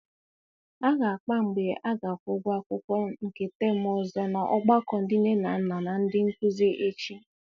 A ga-akpa mgbe a ga-akwụ ụgwọ akwụkwọ nke temu ọzọ n'ọgbakọ ndị nne na nna na ndị nkụzi echi.